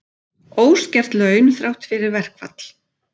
Óskert laun þrátt fyrir verkfall